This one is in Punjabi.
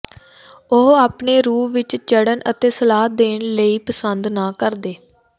ਉਹ ਆਪਣੇ ਰੂਹ ਵਿੱਚ ਚੜ੍ਹਨ ਅਤੇ ਸਲਾਹ ਦੇਣ ਲਈ ਪਸੰਦ ਨਾ ਕਰਦੇ